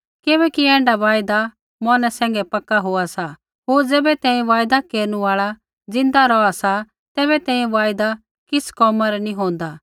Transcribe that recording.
किबैकि ऐण्ढा वायदा मौरनै सैंघै पक्का होआ सा होर ज़ैबै तैंईंयैं वायदै केरनु आल़ा ज़िन्दा रौहा सा तैबै तैंईंयैं वायदा किछ़ कोमा रा नी होंदा